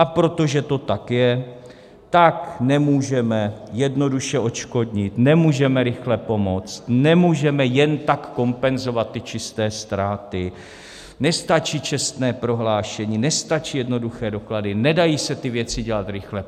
A protože to tak je, tak nemůžeme jednoduše odškodnit, nemůžeme rychle pomoct, nemůžeme jen tak kompenzovat ty čisté ztráty, nestačí čestné prohlášení, nestačí jednoduché doklady, nedají se ty věci dělat rychle.